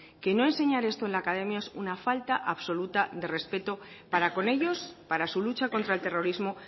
que no enseñar esto en la academia es una falta absoluta de respeto para con ellos para su lucha contra el terrorismo